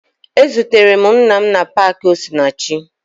Ezutere m nna m na paakị Osinachi